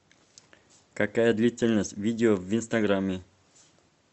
какая длительность видео в инстаграме